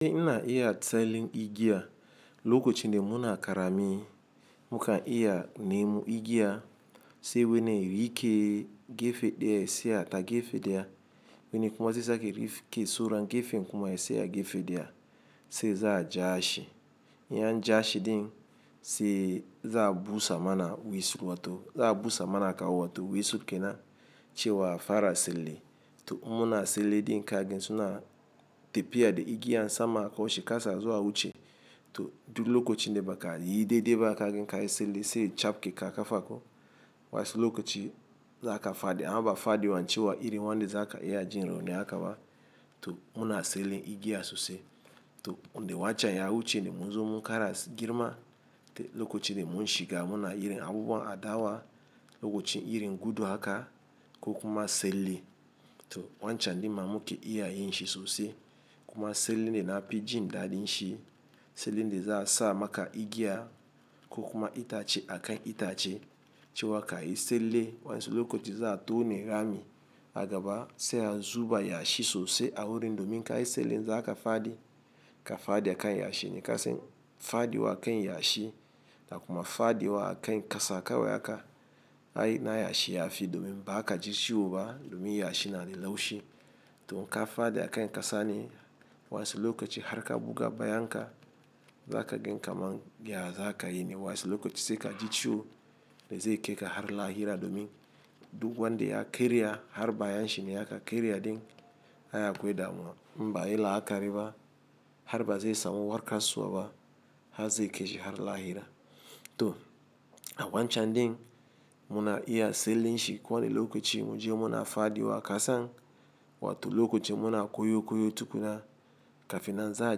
Ina iya tselin igiya, lokacin da muna karami, muka iya nemu igiya sai wane rike gefe ɗaya ya saya ta gefe ɗaya. Wani kuma zai sake rifke soran gefen kuma ya saya gefe ɗaya sai za a ja shi. In an jan shi din sai za a busa mana wisur wato za a busa mana kawu wato wisur kenan cewa fara selle. To in muna selle din ka gan suna tafiya da igiya sama koshi kasa a zo a wuce. To du lokocin de baka yi daidai ba ka ganka yi selle sai capke ka kafa ko. Wansu lokoci zaka fadi amba fadi wancewa iri wanda za ka iya jin rauni akaba. To muna selle igiya sosai. To wanda wancan ya wuce ne mu zo mu kara girma. To lokacin da mun shiga muna irin abubuwan adawa, lokacin irin gudu haka ko kuma selle. To wancan ɗin ma muke iya yin shi sosai. Kuma selle ne na pi jin daɗin shi. Selle ne za a sa maka igiya ko kuma itace a kan itace cewa ka yi selle. Waƴansu lokoci za a tone rami agaba sai a zuba yashi sosai a wurin domin kayi selle za a kafa di, ka fadi a kan yashi ne kasan, fadi wa a kan yashi da kuma fadi wa a kan kasa kawai aka ai na yashi yafi domin ba ka ji ciwo ba domin yashi na da laushi. To ka faɗi a kan ƙasa ne wa'ansu lokaci har ka buga bayanka, za ka gan kaman ya za ka yi ne wa'ansu lokaci sai ka ji ciwo da zai kaika har lahira domin duk wanda ya karya har baya shi ne ya ka karya ɗin. Ai akwai damuwa, in ba'ayi la'akari ba har ba zai samu warkaswa ba har zai kaishi har lahira. To a wancan ɗin muna iya tsallen shi kowane lokaci mu je muna faɗuwa kasan wato lokaci muna koyo koyo tukuna kafin na za a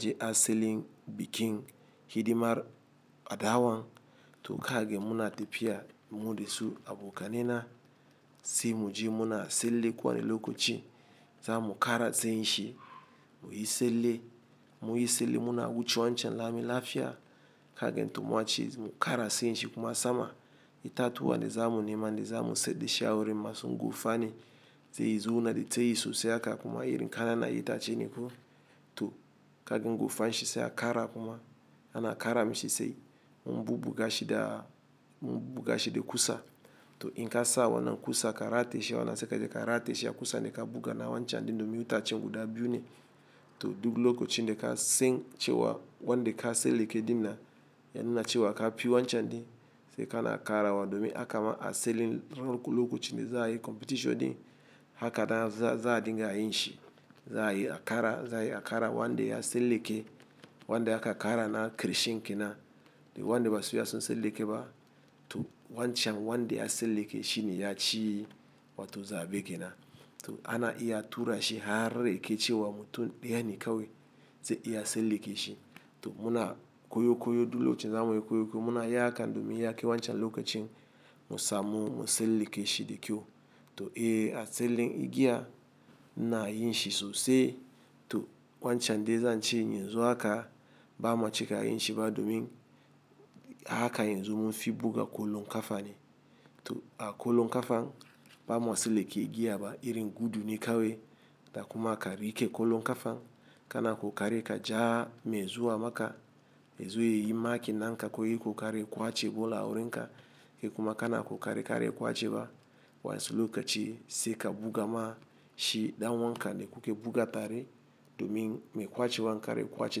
je asalin bikin hidimar adawan. To kaga muna tafiya mu da su abokaina sai mu je muna tsalle kowane lokaci za mu ƙara tsayin shi. Mu yi tsalle, mu yi tsalle muna wuce wancan lami lafiya kaga to mace mu ƙara tsayin shi kuma sama itatuwa da za mu nema da za mu tsayar dashri matsayins gofa ne. Sai ya zauna da tsayi sosai haka kuma irin ƙananan itace ne ko. To kaga gofan shi sai a ƙara kuma ana ƙara mishi sai mun buga shi da, mun buga shi da ƙusa. To in ka sa wannan ƙusa ka rataye shi wannan sai ka je ka rataye shi a ƙusa da ka buga na wancan din domin itacen guda biyu ne. To duk lokacin da kasan cewa wanda ka tsallake ɗin nan, ya nuna cewa ka fi wancan ɗin sai ka na ƙara wa domin hakama a selling lokacin da za a yi competition ɗin. Haka da za a dinga yin shi. Za a yi a kara, za a yi a ƙara wanda ya tsallake, wanda aka ƙara na ƙarshen ke nan. Da wanda ba su iya sun tsalla ke ba. To wancan wanda ya selle ke shi ne ya ci wato zaɓe ke nan. To ana iya tura shi har yaka cewa mutum ɗaya ne kawai zai iya tsalla ke shi. To muna koyo koyo duk lokacin za mu yi koyo koyo muna yaka domin ya ke wancan lokacin mu samu mu tsallake shi da kyau. To iya asalin igiya na yin shi sosai. To wancan dai zan ce yanzu haka bama ciki yin shi ba domin haka yanzu mun fi buga ƙwallon kafa ne. To a ƙwallon ƙafa ba ma tsallake igiya ba irin gudu ne kawai da kuma ka riƙe ƙwallon ƙafa. Kana ƙoƙari ka ja mai zuwa maka, ya zo ya yi marking na ka ko yayi ƙoƙari ya ƙwace ball wurin ka. Kokuma kana ƙoƙari kaje ƙwacewa wa'ansu lokaci sai ka buga ma shi ɗan uwanka wanda kuke buga tare domin mai ƙwace wan kar ya ƙwace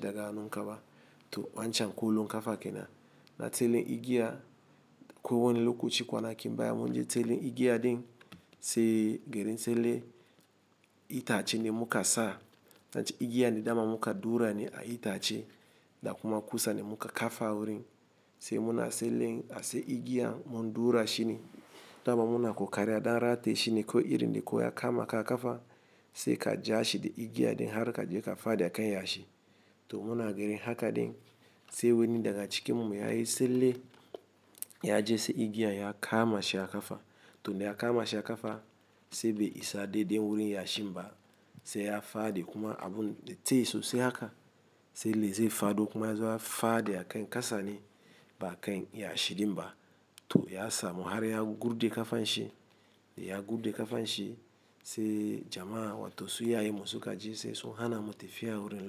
daga hannun ka ba. To wancan ƙwallon ƙafa kenan na tsallen igiya ko wani lokaci kwanakin baya munyi tsallen igiya ɗin sai garin tsalle itacen da muka sa. Zan ce igiya ne dama muka ɗaura ne a itace da kuma kusa ne muka kafa wurin. Sai muna tsallen ashe igiyan mun ɗaura shi ne. Dama muna ƙoƙarin ɗan rataye shi ne ko irin ne ko ya kama ka ƙafa sai ka ja shi da igiya ɗin har ka je ka faɗi a kan yashi. To muna ganin haka din sai wani daga cikin mu ya yi tsalle, ya je sai igiya ya kama shi ya ƙafa. To da ya kama shi ya ƙafa sai bai isa dai dai wurin yashin ba sai ya faɗi kuma abun da tsayi sosai haka sanda zai faɗo kuma ya zo ya faɗi a kan kasani ba a kan yashi ɗin ba. To ya samu har ya gurje da ƙafan shi. Ya gurɗe ƙafan shi sai jama'a wato su iyayenmu su ka ji sai su hana mu tafiya wurin lokacin.